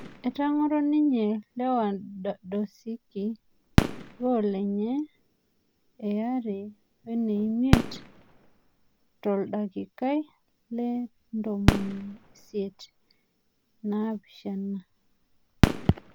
Etang'oro ninye Lewandosiki gol enye eareweneimiet toldakikai le le ntomoni siet inaapishana